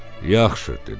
Yaxşı, dedi.